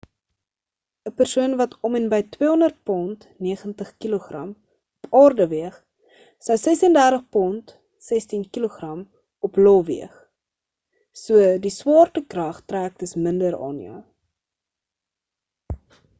‘n persoon wat om en by 200 pond 90kg op aarde weeg sou 36 pond 16kg op io weeg. so die swaartekrag trek dus minder aan jou